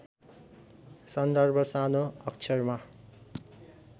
सन्दर्भ सानो अक्षरमा